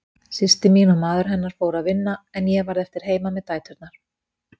Systir mín og maður hennar fóru að vinna en ég varð eftir heima með dæturnar.